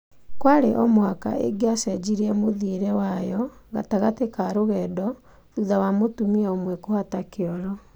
Kwarĩ omũhaka ingicenjirie mũthiĩre wayo gatagati ka rũgendo thutha wa mũtumia ũmwe kũhata kioro